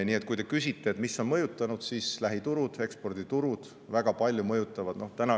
Nii et kui te küsite, mis on mõjutanud, siis lähiturud ja eksporditurud mõjutavad väga palju.